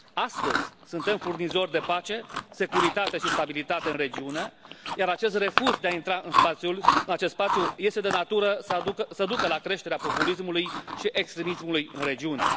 Astăzi suntem furnizori de pace, securitate și stabilitate în regiune, iar acest refuz de a intra în acest spațiu este de natură să ducă la creșterea populismului și extremismului în regiune.